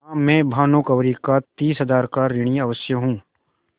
हाँ मैं भानुकुँवरि का तीस हजार का ऋणी अवश्य हूँ